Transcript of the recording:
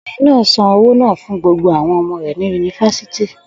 Obìnrin náà san owó náà fún gbogbo àwọn ọmọ rẹ̀ ní Yunifásítì.